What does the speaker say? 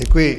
Děkuji.